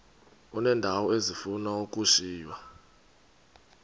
uneendawo ezifuna ukushiywa